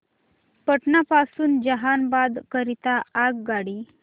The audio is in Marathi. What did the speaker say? पटना पासून जहानाबाद करीता आगगाडी